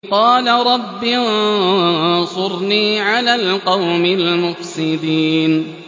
قَالَ رَبِّ انصُرْنِي عَلَى الْقَوْمِ الْمُفْسِدِينَ